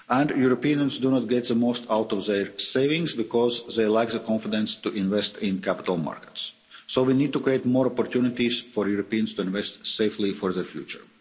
Europeans do not get the most out of their savings because they lack the confidence to invest in capital markets, so we need to create more opportunities for Europeans to invest safely for their future.